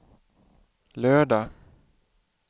lördag